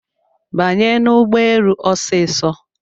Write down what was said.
Banye n'ụgbọelu osiso